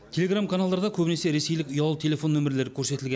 телеграм каналдарда көбінесе ресейлік ұялы телефон нөмірлері көрсетілген